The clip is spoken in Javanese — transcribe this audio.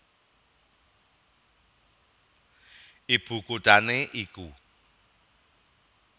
Ibu kuthané iku